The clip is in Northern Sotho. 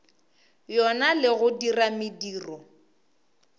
yona le go dira mediro